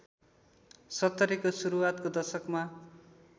सत्तरीको सुरुवातको दशकमा